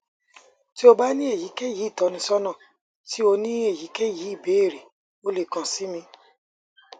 ti o ba ni eyikeyi itọnisọna ti o ni eyikeyi ibeere o le kan si mi